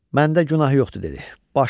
Məndə günah yoxdur, dedi.